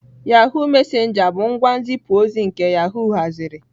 Yahụ messenger bụ ngwa nzipu ozi nke yahoo haziri.